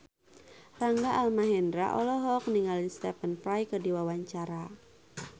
Rangga Almahendra olohok ningali Stephen Fry keur diwawancara